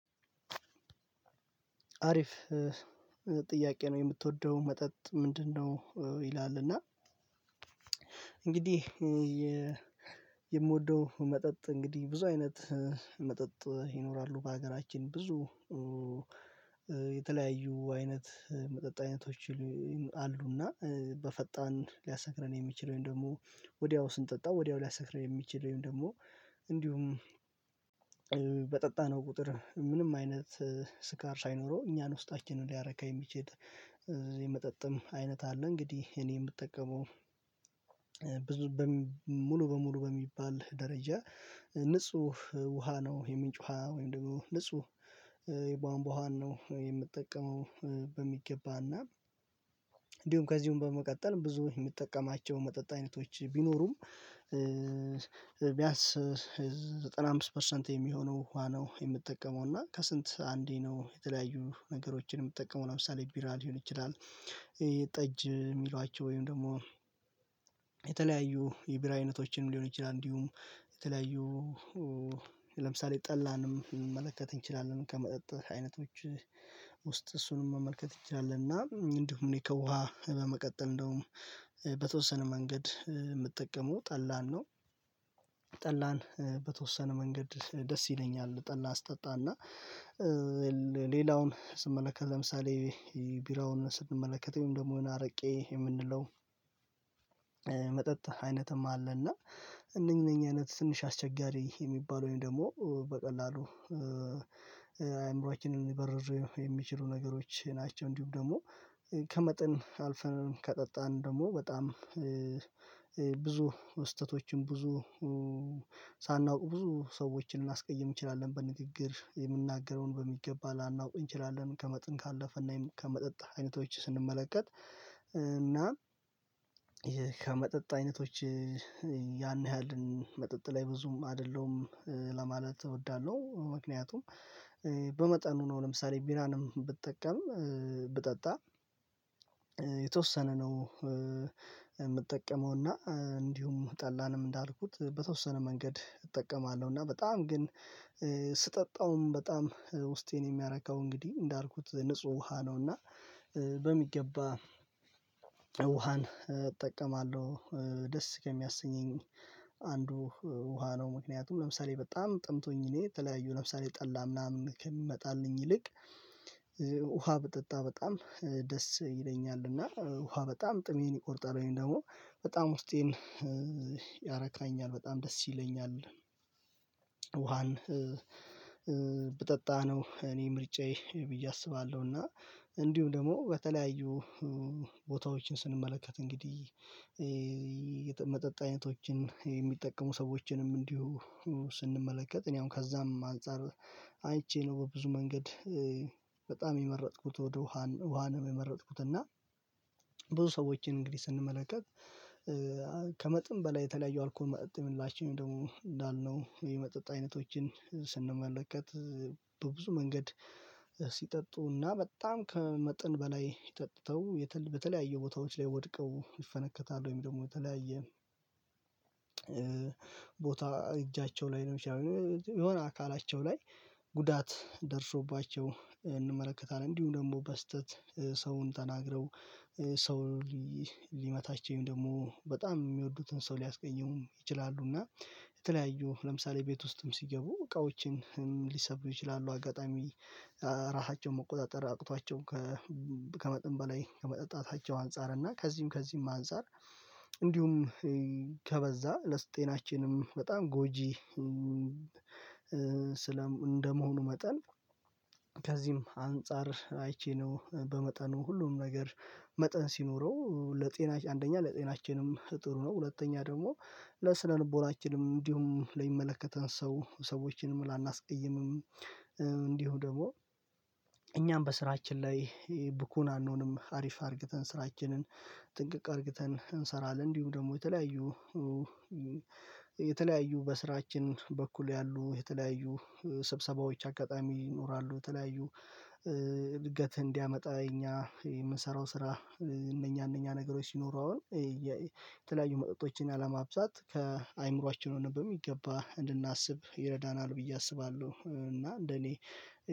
አሪፍ ጥያቄ ነው የምትወደው መጠጥ ምንድነው? ይላል። እና እንግዲህ የምወደው መጠጥ እንግዲህ ብዙ አይነት መጠጥ ይኖራሉ። በሀገራችን ብዙ የተለያዩ አይነት መጠጥ አይነቶች አሉና በፈጣን ሊያሰክረን የሚችለውን ደግሞ ወዲያው ስንጠጣ ወዲያው ሊያሰክረን የሚችል ወይም ደግሞ እንዲሁም በጠጣነው ቁጥር ምንም አይነት ስካር ሳይኖረው እኛን ውስጣችንን ሊያረካ የሚችል የመጠጥም አይነት አለ። እንግዲህ እኔ የምጠቀመው ብዙ ሙሉ በሙሉ በሚባል ደረጃ ንጹህ ውሃ ነው። የምንጭ ውሃ ወይም ደግሞ ንጹህ የቧንቧን ዉሀን ነው የምጠቀመው። በሚገባና እንዲሁም ከዚሁም በመቀጠል ብዙ የሚጠቀማቸው መጠጥት አይነቶች ቢኖሩም ቢያንስ ዘጠና አምስት ፐርሰንት የሚሆነው ዉሃ ነው። የምትጠቀመው እና ከስንት አንዴ ነው የተለያዩ ነገሮችን የምትጠቀመው ለምሳሌ ቢራ ሊሆን ይችላል። ጠጅ የሚሏቸው ወይም ደግሞ የተለያዩ የቢራ አይነቶችንም ሊሆን ይችላል። እንዲሁም የተለያዩ ለምሳሌ ጠላንም መመልከት እንችላለን ከመጠጥ አይነቶች ውስጥ እሱንም መመልከት እንችላለን እና እንዲሁም እኔ ከውሃ በመቀጠል እንደውም በተወሰነ መንገድ የምጠቀመው ጠላን ነው። ጠላን በተወሰነ መንገድ ደስ ይለኛል። ጠላ ስጠጣና ሌላውን ስንመለከት ለምሳሌ ቢራውን ስንመለከተው ወይም ደግሞ አረቄ የምንለው መጠጥ አይነትም አለ። እና እነኚህ እነኚህ አይነት ትንሽ አስቸጋሪ የሚባለው ወይም ደግሞ በቀላሉ አይምሮአችንን ሊበርዙ የሚችሉ ነገሮች ናቸው። እንዲሁም ደግሞ ከመጠን አልፈን ከጠጣን ደግሞ በጣም ብዙ ስህተቶችም ብዙ ሳናውቅ ብዙ ሰዎችን ልናስቀይም እንችላለን በንግግር የምናገረውን በሚገባ ላናውቅ እንችላለን። ከመጠን ካለፈ እና ከመጠጥ አይነቶች ስንመለከት እና ይሄ ከመጠጥ አይነቶች ያን ያህልን መጠጥ ላይ ብዙም አይደለሁም ለማለት እወዳለሁ። ምክንያቱም በመጠኑ ነው ለምሳሌ ቢራንም ብጠቀም ብጠጣ የተወሰነ ነው። የምጠቀመው እና እንዲሁም ጠላንም እንዳልኩት በተወሰነ መንገድ እጠቀማለሁ። እና በጣም ግን ስጠጣውም በጣም ውስጤን የሚያረካው እንግዲህ እንዳልኩት ንጹህ ውሃ ነው። እና በሚገባ ውሃን እጠቀማለሁ። ደስ ከሚያሰኘኝ አንዱ ውሃ ነው። ምክንያቱም ለምሳሌ በጣም ጠምቶኝ እኔ ተለያዩ ለምሳሌ ጠላ ምናምን ከሚመጣልኝ ይልቅ ውሃ ብጠጣ በጣም ደስ ይለኛል። እና ውሃ በጣም ጥሜን ይቆርጣል ወይም ደግሞ በጣም ውስጤን ያረካኛል በጣም ደስ ይለኛል። ውሃን ብጠጣነው እኔ ምርጫዬ ብዬ አስባለሁ። እና እንዲሁም ደግሞ በተለያዩ ቦታዎችን ስንመለከት እንግዲህ የመጠጥ አይነቶችን የሚጠቀሙ ሰዎችንም እንዲሁ ስንመለከት እኔ አሁን ከዛም አንፃር አይቼ ነው በብዙ መንገድ በጣም የመረጥኩት ወደ ውሃ ውሃንም የመረጥኩት። እና ብዙ ሰዎችን እንግዲህ ስንመለከት ከመጥን በላይ የተለያየ አልኮል መጥም ደግሞ እንዳልነው የመጠጥ አይነቶችን ስንመለከት በብዙ መንገድ ሲጠጡና በጣም ከመጠን በላይ ጠጥተው በተለያዩ ቦታዎች ላይ ወድቀው ይፈነከታል። ወይም ደግሞ በተለያየ ቦታ እጃቸው ላይ ነው ሊሆን ይችላል የሆነ አካላቸው ላይ ጉዳት ደርሶባቸው እንመለከታለን። እንዲሁ ደግሞ በስህተት ሰውን ተናግረው ሰው ሊመታቸውም ወይም ደግሞ በጣም የሚወዱትን ሰው ሊያስቀይሙም ይችላሉ። እና የተለያዩ ለምሳሌ ቤት ውስጥም ሲገቡ እቃዎችንም ሊሰብሩ ይችላሉ። አጋጣሚ ራሳቸውን መቆጣጠር አቅቷቸው ከመጠን በላይ ከመጠጣታቸው አንፃር እና ከዚህም ከዚህም አንፃር እንዲሁም ከበዛ ለስጤናችንም በጣም ጎጂ። ስለም እንደመሆኑ መጠን ከዚህም አንፃር አይቼ ነው በመጠኑ ሁሉም ነገር መጠን ሲኖረው ለጤናች አንደኛ ለጤናችንም ጥሩ ነው። ሁለተኛ ደግሞ ለስነልቦናችንም ልቦናችንም እንዲሁም ለሚመለከተን ሰው ሰዎችንም ላናስቀይምም እንዲሁ ደግሞ እኛም በስራችን ላይ ቡኩን አንሆንም አሪፍ አድርግተን ስራችንን ጥንቅቅ አድርግተን እንሰራለን። እንዲሁ ደግሞ የተለያዩ የተለያዩ በስራችን በኩል ያሉ የተለያዩ ስብሰባዎች አጋጣሚ ይኖራሉ። ተለያዩ እድገት እንዲያመጣ እኛ የምንሰራው ስራ እነኛ እነኛ ነገሮች ሲኖሩ አሁን የተለያዩ መጠጦችን አለማብዛት ከአእምሮአችን ሆነን በሚገባ እንድናስብ ይረዳናል ብዬ አስባለሁ። እና እንደኔ